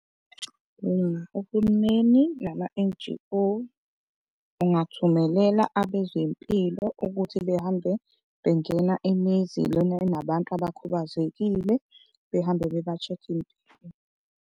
uhulumeni nama-N_G_O ungathumelela abezempilo ukuthi behambe bengena imizi lena enabantu abakhubazekile, behambe beba-check-a impilo.